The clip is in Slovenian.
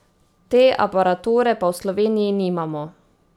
Te aparature pa v Sloveniji nimamo.